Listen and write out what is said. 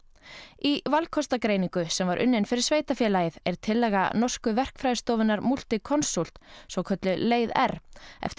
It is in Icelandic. í valkostagreiningu sem var unnin fyrir sveitarfélagið er tillaga norsku verkfræðistofunnar Multiconsult svokölluð leið r eftir